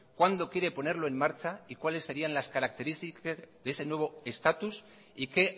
cuándo quiere ponerlo en marcha y cuáles serían las características de ese nuevo estatus y qué